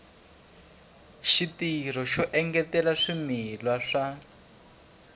xitirho xo engetela swimila swa